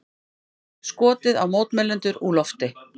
Skotið á mótmælendur úr lofti